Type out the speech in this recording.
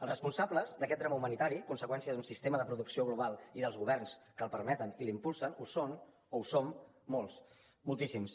els responsables d’aquest drama humanitari conseqüència d’un sistema de producció global i dels governs que el permeten i l’impulsen ho són o ho som molts moltíssims